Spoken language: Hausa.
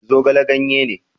Zogale ganye ne